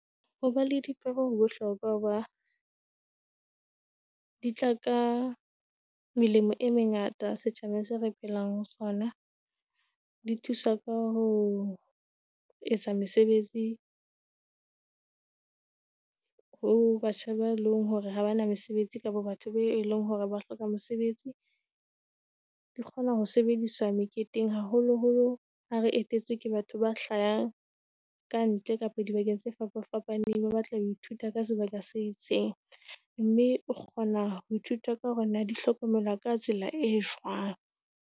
Hoba le dipeo ho bohlokwa ho ba di tla ka melemo e mengata setjhabeng se re phelang ho sona. Di thusa ka ho etsa mesebetsi ho batjha ba leng hore ha bana mesebetsi kapa batho beo eleng hore ba hloka mosebetsi, di kgona ho sebediswa meketeng haholoholo ha re etetswe ke batho ba hlahang kantle kapo dibakeng tse fapafapaneng. Ba batlang ho ithuta ka sebaka se itseng mme o kgona ho ithuta ka hore na di hlokomelwa ka tsela e jwang.